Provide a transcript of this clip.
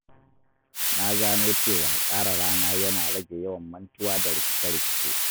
Na gano cewa tsara rana yana rage yawan mantuwa da rikice-rikice.